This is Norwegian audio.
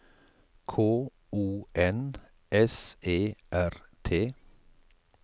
K O N S E R T